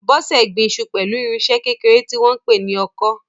Bose gbin iṣu pẹ̀lú irinṣẹ́ kékeré tí wọ́n ń pè ní ọkọ́.